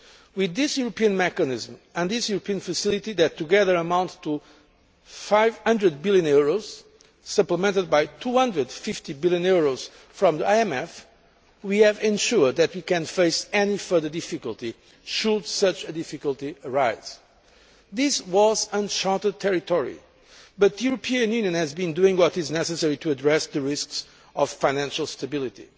With this European mechanism and this European facility that together amount to EUR 500 billion, supplemented by EUR 250 billion from the IMF, we have ensured that we can face any further difficulty, should such a difficulty arise. This was uncharted territory, but the European Union has been doing what is necessary to address the risks to financial stability.